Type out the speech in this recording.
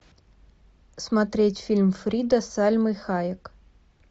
смотреть фильм фрида с сальмой хайек